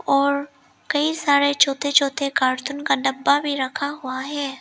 और कई सारे छोटे छोटे कार्टून का डब्बा भी रखा हुआ है।